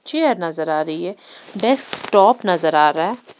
Chair नजर आ रही है डेस्टॉप नजर आ रहा है।